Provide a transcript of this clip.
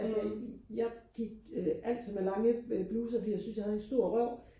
altså I jeg gik øh altid med lange øh bluser fordi jeg syntes jeg havde en stor røv